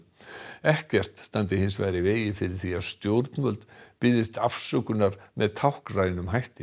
ekkert standi hins vegar í vegi fyrir því að stjórnvöld biðjist afsökunar með táknrænum hætti